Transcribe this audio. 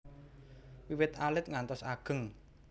Wiwit alit ngantos ageng